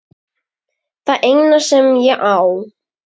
Það eina sem ég á.